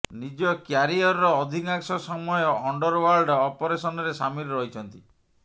ନିଜ କ୍ୟାରିଅରର ଅଧିକାଂଶ ସମୟ ଅଣ୍ଡରଓ୍ୱାର୍ଲଡ ଅପରେସନରେ ସାମିଲ୍ ରହିଛନ୍ତି